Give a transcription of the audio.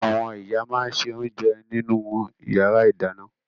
Àwọn ìyá máa ń se oúnjẹ nínú ìyàrá-ìdáná.